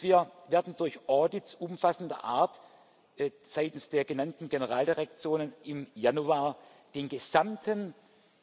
Wir werden durch Audits umfassender Art seitens der genannten Generaldirektionen im Januar den gesamten